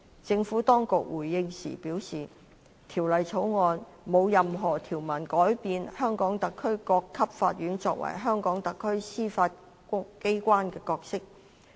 政府當局回應時表示《條例草案》沒有任何條文改變香港特區各級法院作為香港特區司法機關的角色。